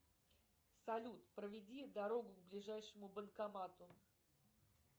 салют проведи дорогу к ближайшему банкомату